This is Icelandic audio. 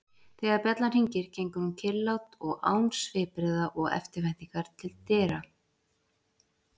Þegar bjallan hringir gengur hún kyrrlát og án svipbrigða og eftirvæntingar til dyra.